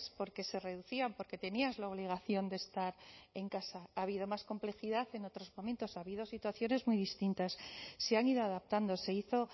porque se reducían porque tenías la obligación de estar en casa ha habido más complejidad en otros momentos ha habido situaciones muy distintas se han ido adaptando se hizo